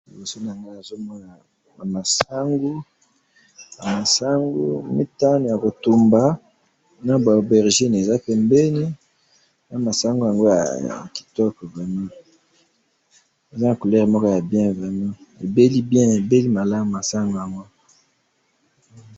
liboso nangayi nazomona ba masangu masangu mitanu ya ko tumba naba aubergine eza pembeni na masangu yangio eza kitoko vraiment ebeli bien ebeli malamu ba masango yango